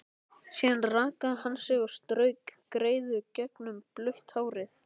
Síðan rakaði hann sig og strauk greiðu gegnum blautt hárið.